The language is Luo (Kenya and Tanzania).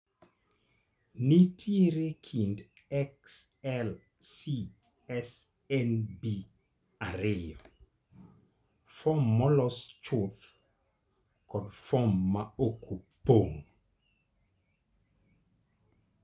Nitiere kit XLCSNB ariyo: fom molos chuth kod fom ma ok opong'.